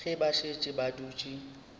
ge ba šetše ba dutše